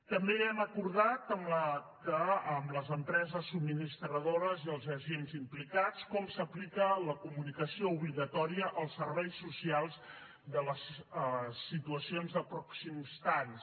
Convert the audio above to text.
també hem acordat amb les empreses subministradores i els agents implicats com s’aplica la comunicació obligatòria els serveis socials de les situacions de pròxims talls